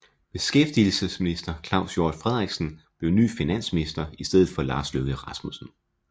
Beskæftigelsesminister Claus Hjort Frederiksen blev ny finansminister i stedet for Lars Løkke Rasmussen